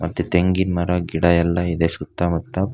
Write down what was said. ಮತ್ತೆ ತೆಂಗಿನ ಮರ ಗಿಡ ಎಲ್ಲ ಇದೆ ಸುತ್ತಮುತ್ತ--